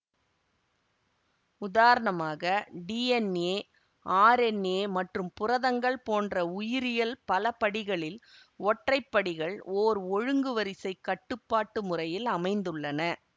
உதாரணமாக DNA RNA மற்றும் புரதங்கள் போன்ற உயிரியல் பலபடிகளில் ஒற்றை படிகள் ஓர் ஒழுங்கு வரிசை கட்டுப்பாட்டு முறையில் அமைந்துள்ளன